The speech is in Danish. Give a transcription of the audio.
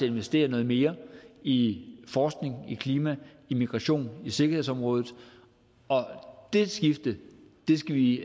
investere noget mere i forskning i klima i migration i sikkerhedsområdet og det skifte skal vi